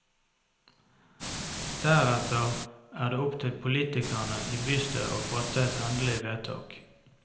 Deretter er det opp til politikerne i bystyret å fatte et endelig vedtak.